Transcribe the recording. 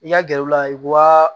I ka gɛrɛ u la wa